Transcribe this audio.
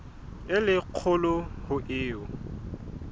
e le kgolo ho eo